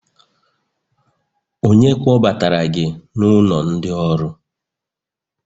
onye kpọbatara gi n'ulo ndi-oru?